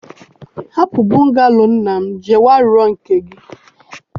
Hapu bungalow nna m gawa ulo gi!